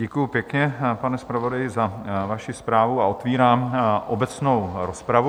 Děkuji pěkně, pane zpravodaji, za vaši zprávu a otevírám obecnou rozpravu.